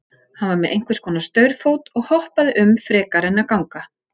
Hann var með einhvers konar staurfót og hoppaði um frekar en að ganga.